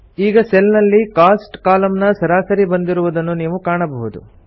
ಈಗ ಸೆಲ್ ನಲ್ಲಿ ಕೋಸ್ಟ್ ಕಾಲಂನ ಸರಾಸರಿ ಬಂದಿರುವುದನ್ನು ನೀವು ಕಾಣಬಹುದು